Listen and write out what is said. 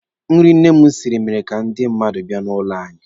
Nri nne m siri mere ka ndị mmadụ bịa n'ụlọ anyị.